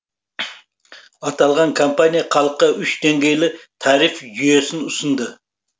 аталған компания халыққа үш деңгейлі тариф жүйесін ұсынды